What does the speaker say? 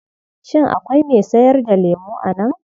Shin akwai mai sayar da lemo a nan?